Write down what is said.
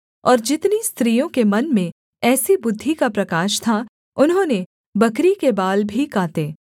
और जितनी स्त्रियों के मन में ऐसी बुद्धि का प्रकाश था उन्होंने बकरी के बाल भी काते